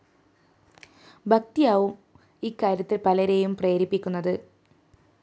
ഭക്തിയാവും ഇക്കാര്യത്തില്‍ പലരേയും പ്രേരിപ്പിക്കുന്നത്